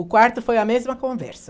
O quarto foi a mesma conversa.